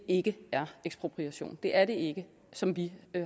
ikke er ekspropriation det er det ikke som vi